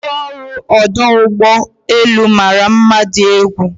ndi ọrụ ọdụ ụgbọ elu mara mma di egwu